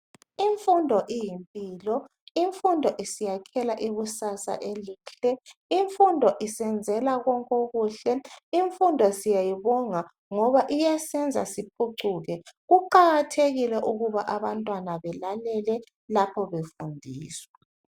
Imfundo iyimpilo imfundo isiyakhela ikusasa elihle imfundo isenzela konke okuhle imfundo siyayibonga ngoba iyasenza siphucuke kuqakathekile ukuba abantwana belalele lapho befundiswa.